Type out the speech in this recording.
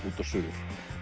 út og suður